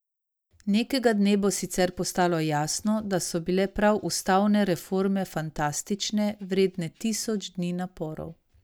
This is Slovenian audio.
Nekega dne bo sicer postalo jasno, da so bile prav ustavne reforme fantastične, vredne tisoč dni naporov.